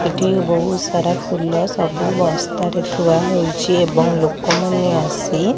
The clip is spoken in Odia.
ଏଠି ବୋହୁତ୍ ସାରା ଫୁଲ ସବୁ ବସ୍ତାରେ ଥୁଆ ହୋଇଛି ଏବଂ ଲୋକମାନେ ଆସି --